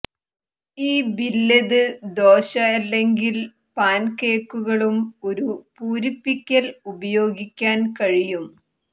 ഈ ബില്ലെത് ദോശ അല്ലെങ്കിൽ പാൻകേക്കുകളും ഒരു പൂരിപ്പിക്കൽ ഉപയോഗിക്കാൻ കഴിയും